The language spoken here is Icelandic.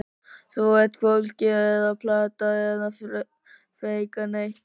Þú ert hvorki að plata eða feika neitt.